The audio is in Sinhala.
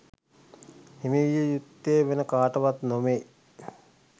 හිමි විය යුත්තේ වෙන කාටවත් නොවේ